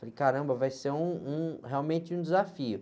Falei, caramba, vai ser um, um, realmente um desafio.